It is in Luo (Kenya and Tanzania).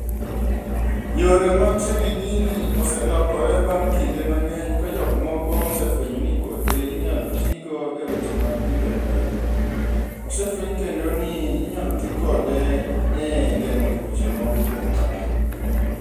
Yore mag tiyo gi gini oselokore bang' kinde mang'eny ka jokmoko osefwenyo ni kothe inyalo tigo e weche mag pidho gwen. Osefweny kendo ni inyalo ti kode e geng'o tuoche moko kuom dhano.